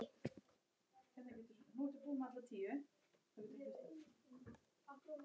Nei, mér leiðist ekki.